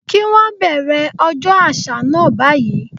Kí wón bẹ̀rẹ̀ ọjọ́ àṣà náà báyìí.